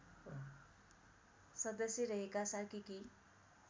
सदश्य रहेका सार्कीकी